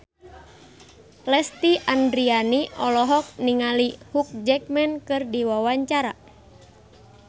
Lesti Andryani olohok ningali Hugh Jackman keur diwawancara